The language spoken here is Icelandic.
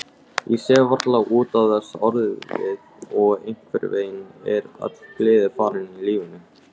Ég sef varla út af þessu orðið og einhvernveginn er öll gleði farin úr lífinu.